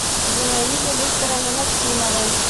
зинаиде викторовне максимовой